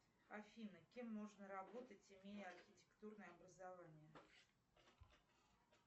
афина кем можно работать имея архитектурное образование